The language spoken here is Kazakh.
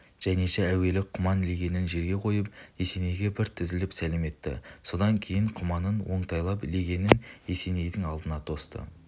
жаниша әуелі құман легенін жерге қойып есенейге бір тізелеп сәлем етті содан кейін құманын оңтайлап легенін есенейдің алдына тосты